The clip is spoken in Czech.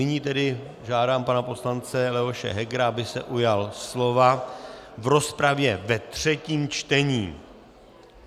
Nyní tedy žádám pana poslance Leoše Hegera, aby se ujal slova v rozpravě ve třetím čtení.